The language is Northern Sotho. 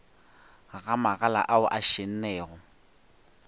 ga magala ao a šennego